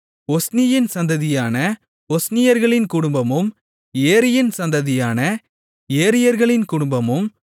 ஒஸ்னியின் சந்ததியான ஒஸ்னியர்களின் குடும்பமும் ஏரியின் சந்ததியான ஏரியர்களின் குடும்பமும்